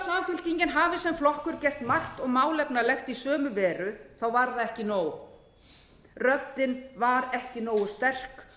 samfylkingin hafi sem flokkur gert margt og málefnalegt í sömu veru þá var það ekki nóg röddin var ekki nógu sterk